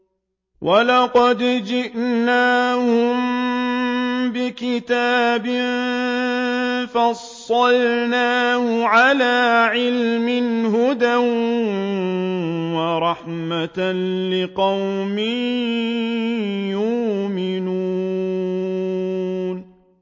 وَلَقَدْ جِئْنَاهُم بِكِتَابٍ فَصَّلْنَاهُ عَلَىٰ عِلْمٍ هُدًى وَرَحْمَةً لِّقَوْمٍ يُؤْمِنُونَ